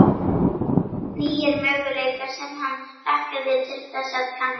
Nýir möguleikar sem hann hlakkaði til þess að kanna.